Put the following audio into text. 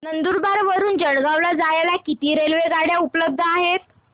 नंदुरबार वरून जळगाव ला जायला किती रेलेवगाडया उपलब्ध आहेत